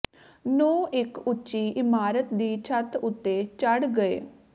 ਨੂੰ ਇੱਕ ਉੱਚੀ ਇਮਾਰਤ ਦੀ ਛੱਤ ਉੱਤੇ ਚੜ੍ਹ ਗਏ